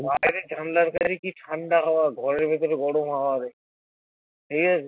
বাইরে জানলার বাইরে হাওয়া ঘরের ভেতরে গরম হাওয়া ঠিক আছে